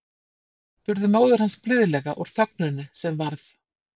spurði móðir hans blíðlega úr þögninni sem varð.